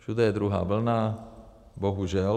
Všude je druhá vlna, bohužel.